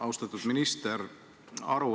Austatud minister!